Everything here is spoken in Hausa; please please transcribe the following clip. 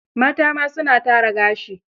Mata ma, su na tara gashi.